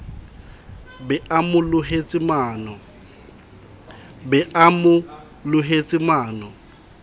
be a mo lohetse mano